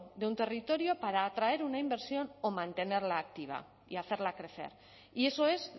de un territorio para atraer una inversión o mantenerla activa y hacerla crecer y eso es